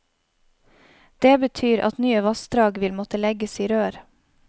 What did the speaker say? Det betyr at nye vassdrag vil måtte legges i rør.